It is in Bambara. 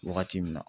Wagati min na